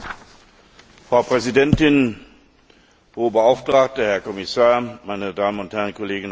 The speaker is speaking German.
Frau Präsidentin, Hohe Beauftragte, Herr Kommissar, meine Damen und Herren Kolleginnen und Kollegen!